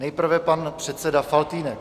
Nejprve pan předseda Faltýnek.